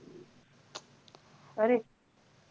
Correct.